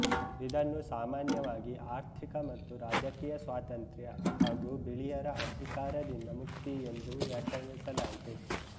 ಇದನ್ನು ಸಾಮಾನ್ಯವಾಗಿ ಆರ್ಥಿಕ ಮತ್ತು ರಾಜಕೀಯ ಸ್ವಾತಂತ್ರ್ಯ ಹಾಗೂ ಬಿಳಿಯರ ಅಧಿಕಾರದಿಂದ ಮುಕ್ತಿ ಎಂದೂ ವ್ಯಾಖ್ಯಾನಿಸಲಾಯಿತು